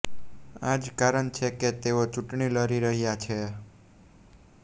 આ જ કારણ છે કે તેઓ ચૂંટણી લડી રહ્યા છે